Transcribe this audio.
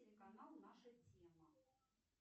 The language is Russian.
телеканал наша тема